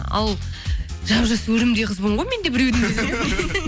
ал жап жас өрімдей қызбын ғой мен де біреудің